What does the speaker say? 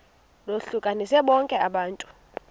lohlukanise bonke abantu